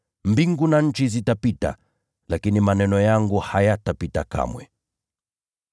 Mbingu na nchi zitapita, lakini maneno yangu hayatapita kamwe.”